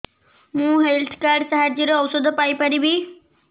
ମୁଁ health card ସାହାଯ୍ୟରେ ଔଷଧ ପାଇ ପାରିବି